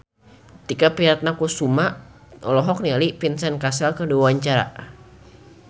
Tike Priatnakusuma olohok ningali Vincent Cassel keur diwawancara